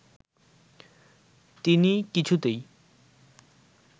তিনি কিছুতেই